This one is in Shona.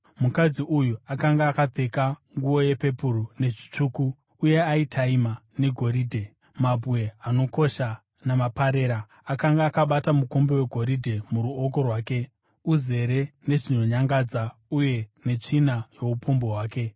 Mukadzi uyu akanga akapfeka nguo yepepuru nezvitsvuku uye aitaima negoridhe, mabwe anokosha namaparera. Akanga akabata mukombe wegoridhe muruoko rwake, uzere nezvinonyangadza uye netsvina youpombwe hwake.